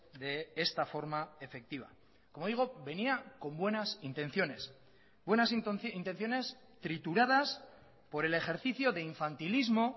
de esta forma efectiva como digo venía con buenas intenciones buenas intenciones trituradas por el ejercicio de infantilismo